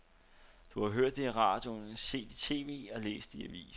Det har du hørt i radioen, set i tv og læst i avisen.